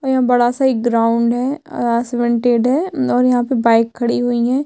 और यहाँ बड़ा-सा एक ग्राउंड है है और यहाँ पे बाइक खड़ी हुई है।